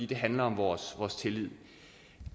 det handler om vores tillid